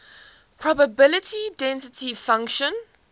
probability density function